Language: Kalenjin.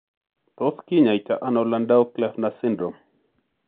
Tos kinyaita ano Landau Kleffner syndrome.?